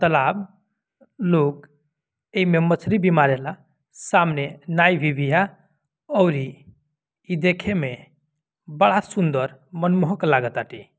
तालाब लोग एमे मछरी भी मरे ला| सामने भी बिया औरी इ देखे में बड़ा सुन्दर मनमोहक लगा ताटे।